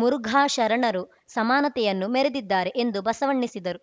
ಮುರುಘಾ ಶರಣರು ಸಮಾನತೆಯನ್ನು ಮೆರೆದಿದ್ದಾರೆ ಎಂದು ಬಸವಣ್ಣಿಸಿದರು